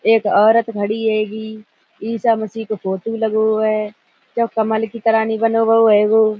एक औरत खड़ी हैगी ईसा मसीह का फोटो लगो है जो कमल की तरह --